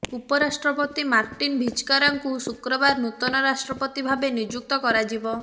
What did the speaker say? ଉପରାଷ୍ଟ୍ରପତି ମାର୍ଟିନ ଭିଜ୍କାରାଙ୍କୁ ଶୁକ୍ରବାର ନୂତନ ରାଷ୍ଟ୍ରପତି ଭାବେ ନିଯୁକ୍ତ କରାଯିବ